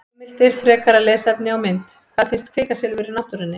Heimildir, frekara lesefni og mynd: Hvar finnst kvikasilfur í náttúrunni?